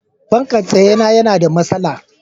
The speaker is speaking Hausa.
fankan tsaye na yana da masala